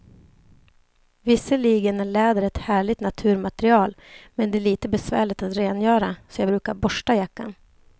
Visserligen är läder ett härligt naturmaterial, men det är lite besvärligt att rengöra, så jag brukar borsta jackan.